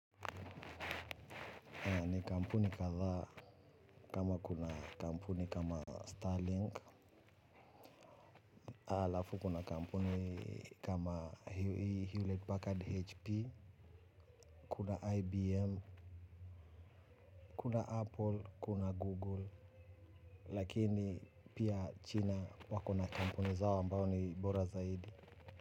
Ni kampuni kadhaa kama kuna kampuni kama Starlink. Halafu kuna kampuni kama Hewlett Packard 'HP'. Kuna IBM, kuna Apple, kuna Google. Lakini pia China wakona kampuni zao ambao ni bora zaidi.